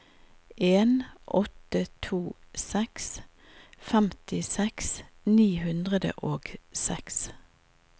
en åtte to seks femtiseks ni hundre og seks